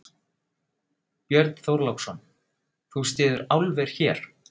Björn Þorláksson: Þú styður álver hér?